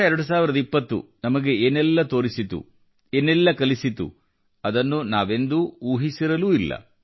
2020 ನಮಗೆ ಏನೆಲ್ಲ ತೋರಿಸಿತು ಏನೆಲ್ಲಾ ಕಲಿಸಿತು ಅದನ್ನು ನಾವೆಂದೂ ಊಹಿಸಿರಲೂ ಇಲ್ಲ